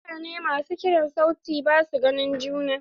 Mutane masu kiran sauti basu ganin juna.